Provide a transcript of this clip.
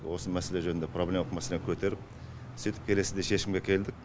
осы мәселе жөнінде проблемалық мәселені көтеріп сөйтіп келесіде шешімге келдік